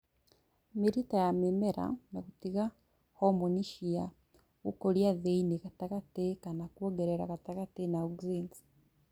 Mĩrita ya mĩmera na gũtiga homoni cia gũkũria thĩinĩ gatagatĩ kana kwongerera gatagatĩ na Auxins